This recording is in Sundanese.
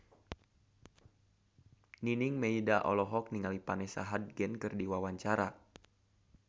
Nining Meida olohok ningali Vanessa Hudgens keur diwawancara